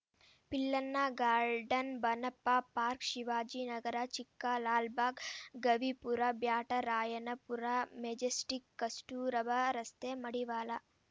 Pillanna garden Bannappa park Shivajinagar Chickalalbagh Gavipura Byatarayanapura Majestic Kasturba ರಸ್ತೆ ಮಡಿವಾಳ